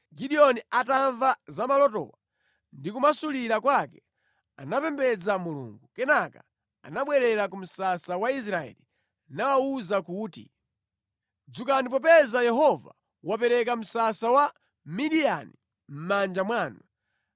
Gideoni atamva za malotowo ndi kumasulira kwake, anapembedza Mulungu. Kenaka anabwerera ku msasa wa Israeli nawawuza kuti, “Dzukani popeza Yehova wapereka msasa wa Midiyani mʼmanja mwanu.”